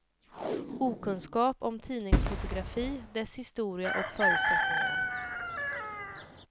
Okunskap om tidningsfotografi, dess historia och förutsättningar.